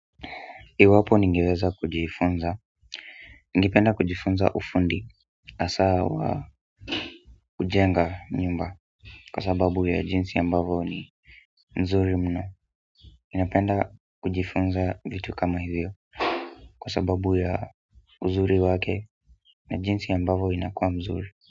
Iwapo ningeweza kujifunza ningependa kujifunza ufundi hasa wa kujenga nyumba kwa sababu ya jinsi ya ambavyo ni nzuri mno ninapenda kujifunza vitu kama hivyo kwa sababu ya uzuri wake na jinsi ya ambavyo inakuwa mzuri.